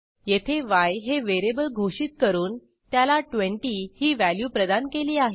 येथे य हे व्हेरिएबल घोषित करून त्याला 20 ही व्हॅल्यू प्रदान केली आहे